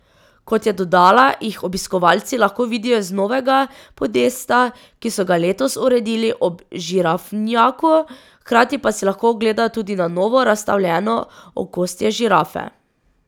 Kot je dodala, jih obiskovalci lahko vidijo z novega podesta, ki so ga letos uredili ob žirafnjaku, hkrati pa si lahko ogledajo tudi na novo razstavljeno okostje žirafe.